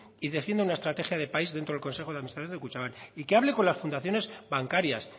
erigiendo una estrategia de país dentro del consejo de administración de kutxabank y que hable con las fundaciones bancarias